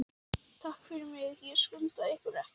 Takk fyrir mig, ég skulda ykkur ekkert.